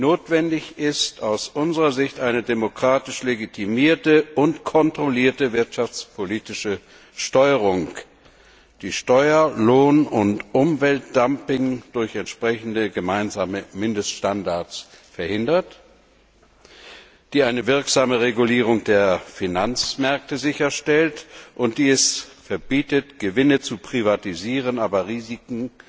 Notwendig ist aus unserer Sicht eine demokratisch legitimierte und kontrollierte wirtschaftspolitische Steuerung, die Steuer Lohn und Umweltdumping durch entsprechende gemeinsame Mindeststandards verhindert, die eine wirksame Regulierung der Finanzmärkte sicherstellt, und die es verbietet, Gewinne zu privatisieren, aber Risiken